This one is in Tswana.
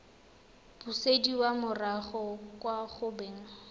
busediwa morago kwa go beng